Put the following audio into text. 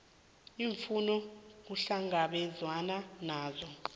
iimfuno kuhlangabezwene nazo